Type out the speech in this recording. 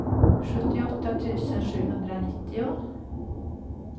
sjuttioåtta tusen sjuhundranittio